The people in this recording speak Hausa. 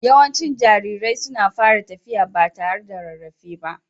Yawancin jarirai suna fara tafiya ba tare da rarrafe ba.